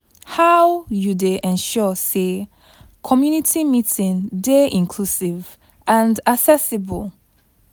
How you dey ensure say community meeting dey inclusive and accessible?